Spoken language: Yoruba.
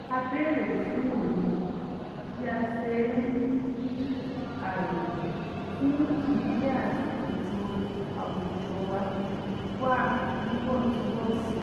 a béèrè fún òye bí a ṣe ń mú kí ààyè fún ìdílé àti ètò àwùjọwà wà níwọ̀ntúnwọ̀nsì